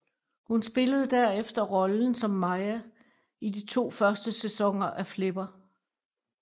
Hun spillede derefter rollen som Maya i de to første sæsoner af Flipper